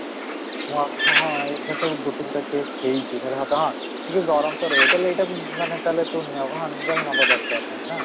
ହଁ, ହଁ, ଏଇଟା ତ ଗୋଟେ ଗୋଟେ case ହେଇଛି ହେଲା, but ହଁ ଟିକେ ଗରମ ତ ରହିବ ତାହେଲେ ଏଇଟାକୁ ମାନେ ତାହେଲେ ତୁ ନେବା ନେବା ଦରକାର ନାହିଁ ନା